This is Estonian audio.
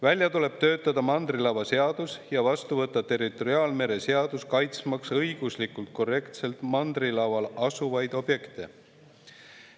Välja tuleb töötada mandrilava seadus ja vastu võtta territoriaalmere seadus, õiguslikult korrektselt kaitsmaks mandrilaval asuvaid objekte.